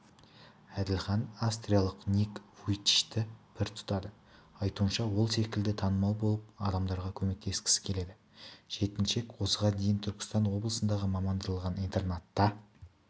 әділхан австриялық ник вуйчичті пір тұтады айтуынша ол секілді танымал болып адамдарға көмектескісі келеді жеткіншек осыған дейін түркістан облысындағы мамандандырылған интернатта